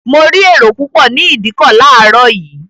Mo rí èrò púpọ̀ ní ìdíkọ̀ láàárọ̀ yìí